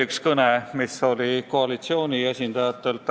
Üks kõne oli koalitsiooni esindajalt.